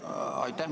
Aitäh!